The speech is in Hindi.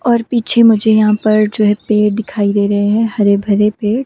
और पीछे मुझे यहां पर जो है पेड़ दिखाई दे रहे हैं हरे भरे पेड़।